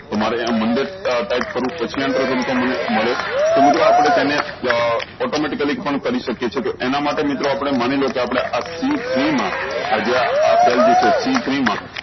તમારે આ મંડે અ ટાયપ કરું પછી એન્ટર કરું તો મને મળે તો બધું આપળે તેને આ automatically પણ કરી સક્યે છે એના માટે મિત્રો આપળે માની લો કે આ આપળે સી થ્રી મા આ જે આ સેલ જે છે સી થ્રી મા